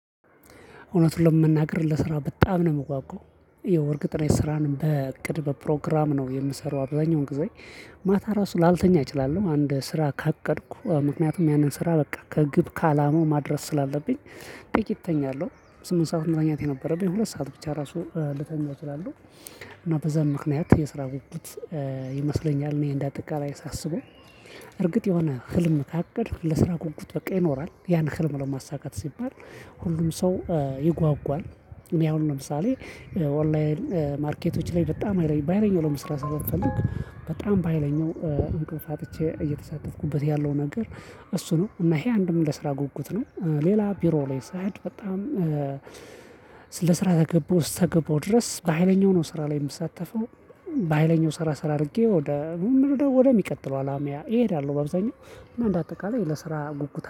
እውነቱን ለመናገር ለ ስራ በጣም ነው ምጓጓው የወር ቅጥር ስራንም በእቅድ በፕሮግራም ነው የምሰራው አብዛኛውን ግዜ ማታ ራሱ ላልተኛ እችላለሁ አንድ ስራ ካቀድኩ ምክንያቱም ያንን ስራ በቃ ከግብ ከአላማው ማድረስ ስላለብኝ። ጥቂት እተኛለሁ ስምንት ሰዓት መተኛት የነበረብኝ ሁለት ሰዓት ብቻ ራሱ ልተኛ ይችላለው። እና በዛ ምክንያት የ ስራ ጉጉት። ይመስለኛል እኔ እንዳጠቃላይ ሳስበው እርግጥ የሆነ ህልም ካቀድክ ለስራ ጉጉት በቃ ይኖራል ያን ህልም ለማሳካት ሲባል። ሁሉም ሰው ይጓጓል እኔ አሁን ለምሳሌ ኦንላይን ማርኬቶች ላይ በጣም ሀይለኝ በሃይለኛው ለመስራት ስለምፈልግ በጣም በሃይለኛው እንቅልፍ አጥቼ እየተሳተፍኩበት ያለው ነገር። እሱ ነው እና ይሄ አንድም ለስራ ጉጉት ነው ሌላ ቢሮ ላይ ሳሄድ በጣም ለስራ ተገባው እስተገባው ድረስ በሃይለኛው ነው ስራ ላይ ምሳተፈው። በሃይለኛው ሰራ ሰራ አድርጌ ወደ ወደ ሚቀጥለው አላማዬ እሄዳለሁ። ባብዛኛው እና እንደ አጠቃላይ ለስራ ጉጉት